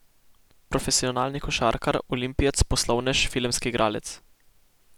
Profesionalni košarkar, olimpijec, poslovnež, filmski igralec.